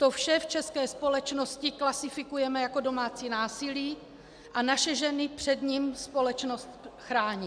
To vše v české společnosti klasifikujeme jako domácí násilí a naše ženy před ním společnost chrání.